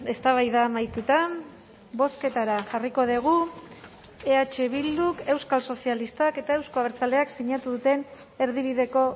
eztabaida amaituta bozketara jarriko dugu eh bilduk euskal sozialistak eta euzko abertzaleak sinatu duten erdibideko